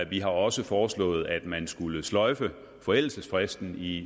vi har også foreslået at man skulle sløjfe forældelsesfristen i